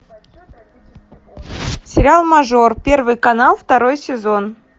сериал мажор первый канал второй сезон